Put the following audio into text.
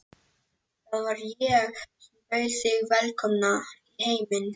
Það var ég sem bauð þig velkomna í heiminn.